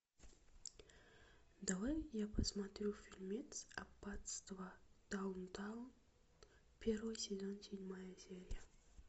давай я посмотрю фильмец аббатство даунтон первый сезон седьмая серия